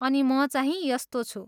अनि मचाहिँ यस्तो छु!